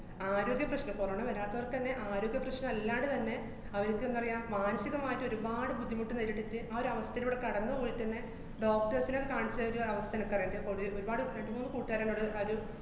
ആരോഗ്യ പ്രശ്നം, corona വരാത്തവര്‍ക്കന്നെ ആരോഗ്യപ്രശ്നമല്ലാണ്ട് തന്നെ അവര്ക്കെന്താ പറയാ, മാനസികമായിട്ട് ഒരുപാട് ബുദ്ധിമുട്ട് നേരിട്ടേച്ച് ആ ഒരവസ്ഥേലൂടെ കടന്നു പോയിട്ടന്നെ doctors നെ കാണിച്ച ആ ഒരു അവസ്ഥ എനക്കറിയാം ഒരുപാട് രണ്ടുമൂന്ന് കൂട്ടുകാരെന്നോട് ആ ഒരു